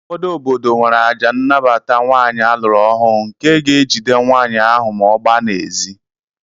Ụfọdụ obodo nwere àjà nnabata nwaanyị a lụrụ ọhụụ nke ga-ejide nwaanyị ahụ ma ọ gbaa n'ezi